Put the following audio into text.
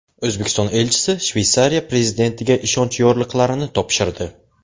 O‘zbekiston elchisi Shveysariya prezidentiga ishonch yorliqlarini topshirdi.